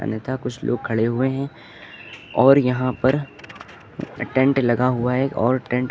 अन्यथा कुछ लोग खड़े हुए हैं और यहां पर अ टेंट लगा हुआ है और टेन्ट --